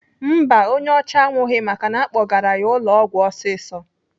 Mba, onye ọcha anwụghị maka na-akpọgara ya ụlọ ọgwụ ọsịsọ.